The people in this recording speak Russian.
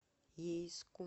ейску